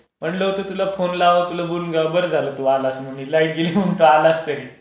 तास झाले माझा फोन बंद आहे. म्हणलं होतं तुला फोन लावाव, तुला बोलवावं, बरं झालं तू आलास.